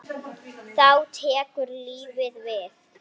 Þá tekur lífið við?